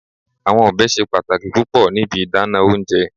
Awọn ọbẹ ṣe pataki pupọ ni ibi idana ounjẹ